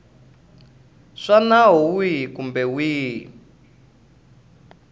swa nawu wihi kumbe wihi